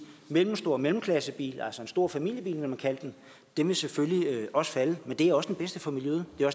mellemstor mellemklassebil altså en stor familiebil ville man kalde den vil selvfølgelig også falde men det er også det bedste for miljøet det er